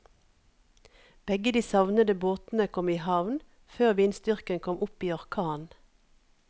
Begge de savnede båtene kom i havn før vindstyrken kom opp i orkan.